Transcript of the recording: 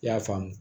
I y'a faamu